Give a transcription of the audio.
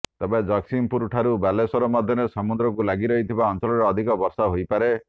ତେବେ ଜଗତ୍ସିଂହପୁରଠାରୁ ବାଲେଶ୍ବର ମଧ୍ୟରେ ସମୁଦ୍ରକୁ ଲାଗି ରହିଥିବା ଅଞ୍ଚଳରେ ଅଧିକ ବର୍ଷା ହୋଇପାରେ